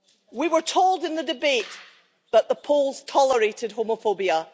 We were told in the debate that the Poles tolerated homophobia.